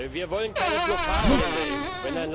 Wir wollen keine Blockaden in der EU.